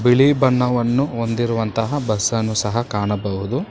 ಬಿಳಿ ಬಣ್ಣವನ್ನು ಹೊಂದಿರುವಂತಹ ಬಸ್ಸ್ ಅನ್ನು ಸಹ ಕಾಣಬಹುದು.